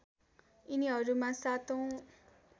यिनीहरूमा ७ औँ